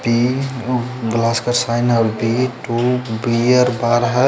तिन ऊ ग्लास का साइन है और वी टू --